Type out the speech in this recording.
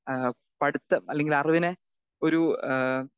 speaker 2 ഏഹ് പഠിത്തം അല്ലെങ്കിൽ അറിവിനെ ഒരു ഏഹ്